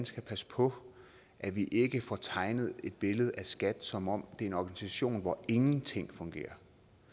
skal passe på at vi ikke får tegnet et billede af skat som om det er en organisation hvor ingenting fungerer